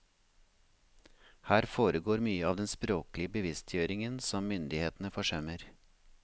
Her foregår mye av den språklige bevisstgjøringen som myndighetene forsømmer.